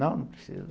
Não, não precisa.